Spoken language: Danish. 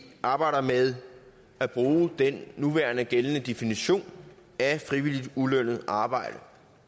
arbejder med at bruge den nuværende gældende definitionen af frivilligt ulønnet arbejde